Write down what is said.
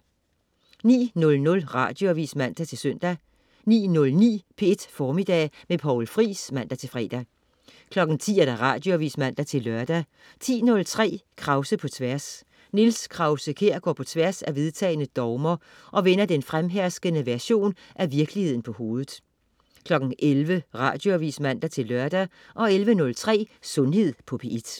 09.00 Radioavis (man-søn) 09.09 P1 Formiddag med Poul Friis (man-fre) 10.00 Radioavis (man-lør) 10.03 Krause på Tværs. Niels Krause-Kjær går på tværs af vedtagne dogmer, og vender den fremherskende version af virkeligheden på hovedet 11.00 Radioavis (man-lør) 11.03 Sundhed på P1